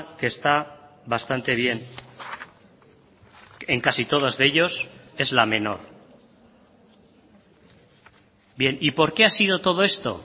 que está bastante bien en casi todos de ellos es la menor bien y por qué ha sido todo esto